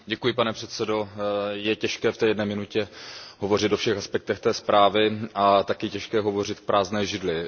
Pane předsedající, je těžké v té jedné minutě hovořit o všech aspektech té zprávy a taky je těžké hovořit k prázdné židli.